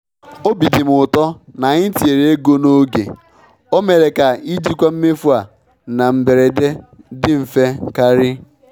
Obi dị m ụtọ na anyị tinyere ego n'oge—o mere ka ijikwa mmefu a na mberede dị mfe karị.